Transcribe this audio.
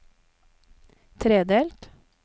tredelt